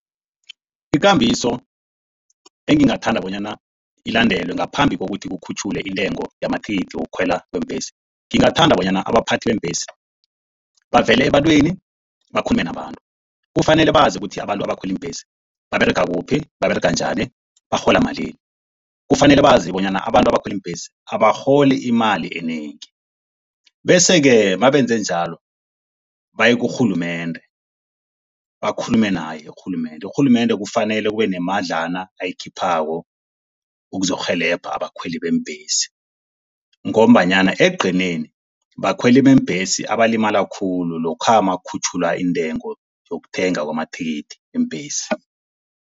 Ikambiso engingathanda bona ilandelwe ngaphambi kokuthi kukhutjhulwe intengo yamathikithi wokukhwela kweembhesi. Ngingathanda bona abaphathi beembhesi bavele ebantwini, bakhulume nabantu. Kufanele bazi ukuthi abantu abakhwela iimbhesi baberega kuphi. Baberega njani, barhola malini. Kufanele bazi bonyana abantu abakhwela iimbhesi abarholi imali enengi. Bese-ke mabenze njalo baye kurhulumende, bakhulume naye urhulumende. Urhulumende kufanele kube nemadlana ayikhiphako ukuzokurhelebha abakhweli beembhesi. Ngombanyana ekugcineni, bakhweli beembhesi abalimala khulu lokha makukhutjhulwa intengo yokuthenga amathikithi iimbhesi